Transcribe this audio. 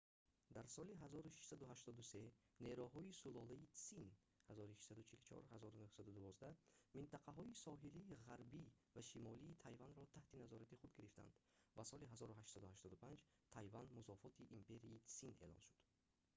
дар соли 1683 нерӯҳои сулолаи тсин 1644-1912 минтақаҳои соҳилии ғарбӣ ва шимолии тайванро таҳти назорати худ гирифтанд ва соли 1885 тайван музофоти империяи тсин эълон шуд